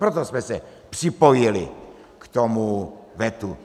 Proto jsme se připojili k tomu vetu.